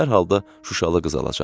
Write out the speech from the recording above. Hər halda Şuşalı qız alacaqdı.